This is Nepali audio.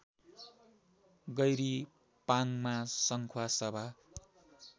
गैरी पाङमा संखुवासभा